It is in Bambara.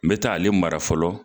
N bɛ taa ale mara fɔlɔ.